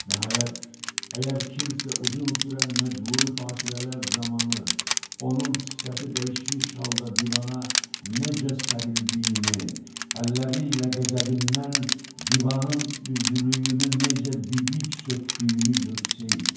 Nəhayət, əgər kimsə uzun sürən məcburi fasilələr zamanı onun sifəti dəyişmiş halda divana necə sərildiyini, əlləri ilə qəzəbindən divanın üzlüyünü necə didib söydüyünü görsəydi.